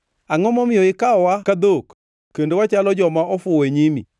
Angʼo momiyo ikawowa ka dhok kendo wachalo joma ofuwo e nyimi?